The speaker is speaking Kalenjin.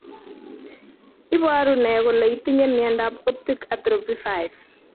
Iporu ne kole itinye miondap Optic atrophy 5?